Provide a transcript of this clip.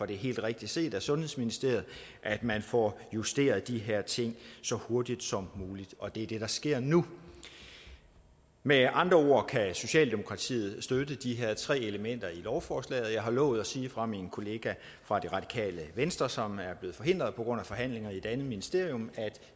det helt rigtigt set af sundhedsministeriet at man får justeret de her ting så hurtigt som muligt og det er det der sker nu med andre ord kan socialdemokratiet støtte de her tre elementer i lovforslaget og jeg har lovet at sige fra min kollega fra det radikale venstre som er blevet forhindret på grund af forhandlinger i et andet ministerium at